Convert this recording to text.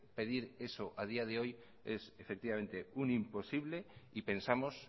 pedir eso a día de hoy es efectivamente un imposible y pensamos